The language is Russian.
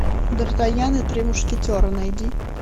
дартаньян и три мушкетера найди